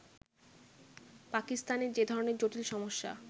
পাকিস্তানে যে ধরণের জটিল সমস্যা